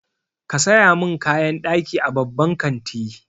Ka saya min kayan ɗaki a babban kanti.